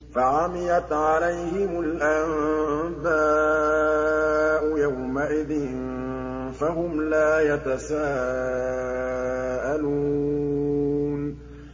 فَعَمِيَتْ عَلَيْهِمُ الْأَنبَاءُ يَوْمَئِذٍ فَهُمْ لَا يَتَسَاءَلُونَ